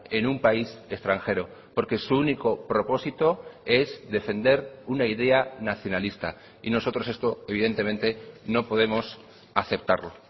en un país extranjero porque su único propósito es defender una idea nacionalista y nosotros esto evidentemente no podemos aceptarlo